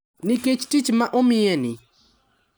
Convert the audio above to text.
Nikech tich ma omiyeni,